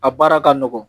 A baara ka nɔgɔn